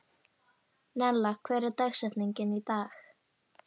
Nella, hver er dagsetningin í dag?